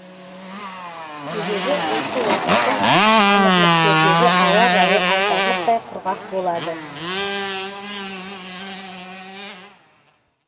себебі осы уақытта әмірліктердегі ауа райы айтарлықтай құрғақ болады